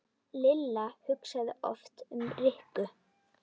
Lilla hugsaði oft um Rikku.